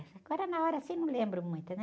Mas agora, na hora, assim, não lembro muito, né?